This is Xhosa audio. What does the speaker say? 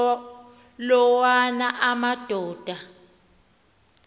la wona amadoda